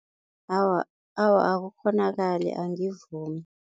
Awa, awa akukghonakali angivumi.